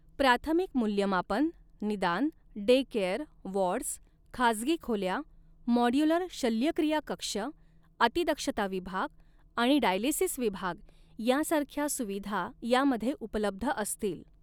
प्राथमिक मूल्यमापन, निदान, डे केअर, वॉर्ड्स, खाजगी खोल्या, म़ॉड्युलर शल्यक्रिया कक्ष, अतिदक्षता विभाग आणि डायालिसिस विभाग यांसारख्या सुविधा यामध्ये उपलब्ध असतील.